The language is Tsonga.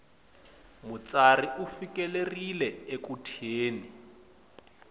mutsari u fikelerile eku thyeni